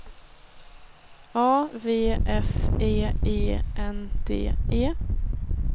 A V S E E N D E